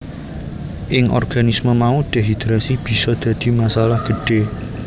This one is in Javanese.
Ing organisme mau dehidrasi bisa dadi masalah gedhé